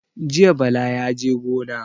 Jiya Bala yaje gona.